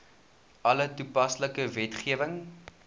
alle toepaslike wetgewing